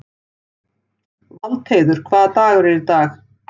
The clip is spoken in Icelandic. Valdheiður, hvaða dagur er í dag?